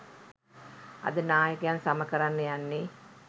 අද නායකයන් සම කරන්න යන්නෙ